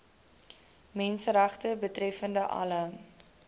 menseregte betreffende alle